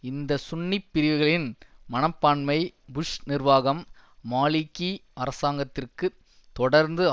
இந்த சுன்னிப்பிரிவுகளின் மனப்பான்மை புஷ் நிர்வாகம் மாலிகி அரசாங்கத்திற்குத் தொடர்ந்து